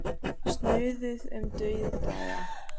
Snuðuð um dauðdaga.